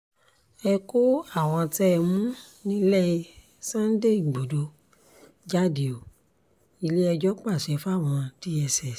ẹ kó àwọn tẹ́ ẹ mú nílẹ̀ sunday igbodò jáde ó ilé-ẹjọ́ pàṣẹ fáwọn dss